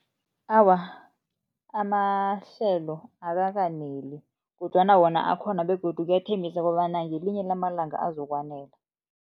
Awa, amahlelo akakaneli kodwana wona akhona begodu kuyathembisa kobana ngelinye lamalanga azokwanela.